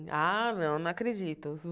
Ah, não não acredito.